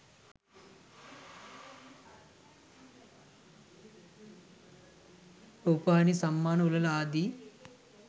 රූපවාහිනී සම්මාන උළෙල ආදී